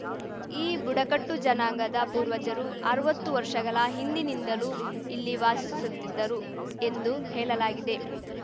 ಈ ಬುಡಕಟ್ಟು ಜನಾಂಗದ ಪೂರ್ವಜರು ಅರ್ವತ್ತು ವರ್ಷಗಲ ಹಿಂದಿನಿಂದಲೂ ಇಲ್ಲಿ ವಾಸಿಸುತ್ತಿದ್ದರು ಎಂದು ಹೇಲಲಾಗುತ್ತದೆ